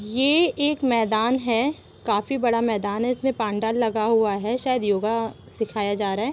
ये एक मैदान है काफी बड़ा मैदान है इसमें पांडाल लगा हुआ है शायद योगा सिखाया जा रहा है।